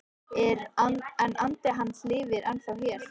En andi hans lifir ennþá hér